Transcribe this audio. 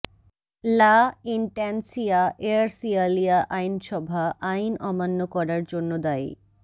লা ইনট্যান্সিয়া এয়ারসিয়ালিয়া আইনসভা আইন অমান্য করার জন্য দায়ী